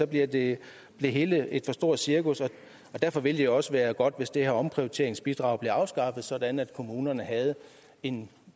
bliver det hele et for stort cirkus og derfor ville det jo også være godt hvis det her omprioriteringsbidrag blev afskaffet sådan at kommunerne havde en